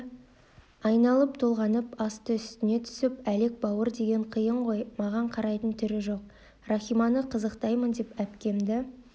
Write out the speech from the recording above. айналып-толғанып асты-үстіне түсіп әлек бауыр деген қиын ғой маған қарайтын түрі жоқ рахиманы қызықтаймын деп әпкемді